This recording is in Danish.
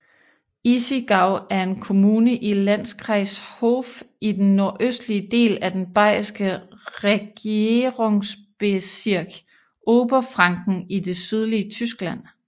Issigau er en kommune i Landkreis Hof i den nordøstlige del af den bayerske regierungsbezirk Oberfranken i det sydlige Tyskland